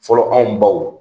Fɔlɔ anw baw